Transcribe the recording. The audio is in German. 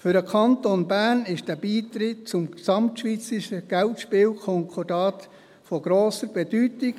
Für den Kanton Bern ist dieser Beitritt zum GSK von grosser Bedeutung.